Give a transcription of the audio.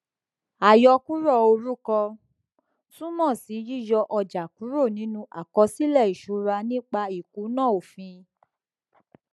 àyọkúrò orúkọ túmọ sí yíyọ ọjà kúrò nínú àkọsílẹ ìṣúra nípa ìkùnà òfin